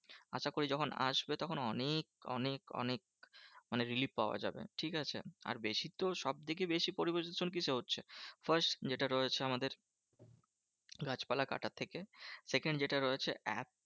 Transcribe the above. আশা করি যখন আসবে তখন অনেক অনেক অনেক মানে relief পাওয়া যাবে, ঠিকাছে? আর বেশি তো সবথেকে বেশি পরিবেশ দূষণ কিসে হচ্ছে? first যেটা রয়েছে আমাদের গাছপালা কাটার থেকে। second যেটা রয়েছে